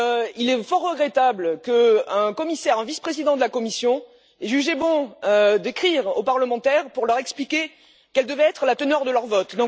Il est fort regrettable qu'un commissaire, un vice président de la Commission ait jugé bon d'écrire aux parlementaires pour leur expliquer quelle devait être la teneur de leur vote.